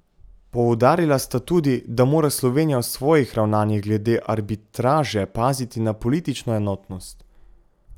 Poudarila sta tudi, da mora Slovenija v svojih ravnanjih glede arbitraže paziti na politično enotnost.